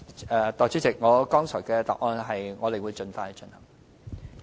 代理主席，我剛才的答覆是，我們會盡快進行。